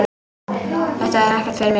Þetta er ekkert fyrir mig.